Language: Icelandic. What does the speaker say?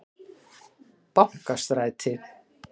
Bankastræti